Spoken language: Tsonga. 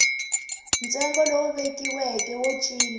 ntsengo lowu vekiweke wo cinca